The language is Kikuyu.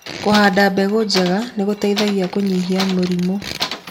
Kũhanda mbegũ njega nĩgũteithagia kũnyihia mĩrimũ.